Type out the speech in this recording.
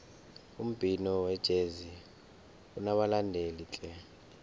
umbhino wejezi unabalandeli tle